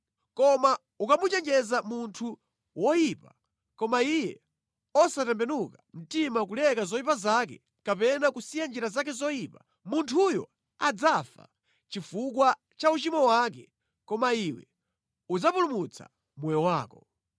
Koma ukamuchenjeza munthu woyipa koma iye osatembenuka mtima kuleka zoyipa zake kapena kusiya njira zake zoyipa, munthuyo adzafa chifukwa cha uchimo wake koma iwe udzapulumutsa moyo wako.